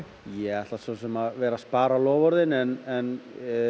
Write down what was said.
ég ætla svo sem að vera spar á loforðin en